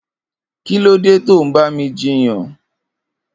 Kilódé tó n bá mi jiyàn